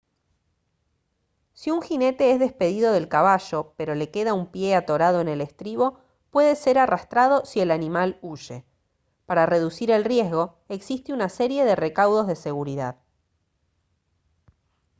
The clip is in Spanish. si un jinete es despedido del caballo pero le queda un pie atorado en el estribo puede ser arrastrado si el animal huye para reducir el riesgo existe una serie de recaudos de seguridad